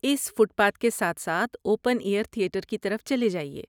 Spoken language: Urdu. اس فٹ پاتھ کے ساتھ ساتھ اوپن ایئر تھیٹر کی طرف چلے جائیے۔